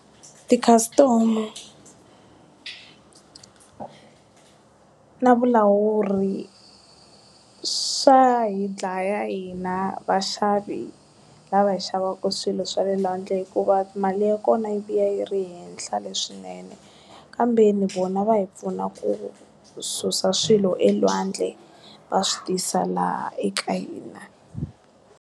Tikhasitamu na vulawuri swa hi dlaya hina vaxavi lava hi xavaka swilo swa le lwandle hikuva mali ya kona yi vuya yi ri henhla leswinene kambeni vona va hi pfuna ku susa swilo elwandle va swi tisa laha eka hina.